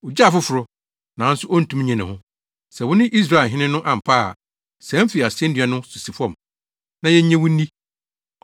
“Ogye afoforo, nanso ontumi nnye ne ho! Sɛ wone Israelfo hene no ampa ara a, sian fi asennua no so si fam, na yennye wo nni.